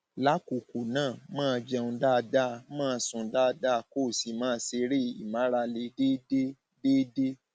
lákọọkọ ná máa jẹun dáadáa máa sùn dáadáa kó o sì máa ṣeré ìmárale déédé déédé